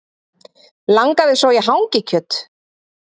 Langaði svo í hangikjöt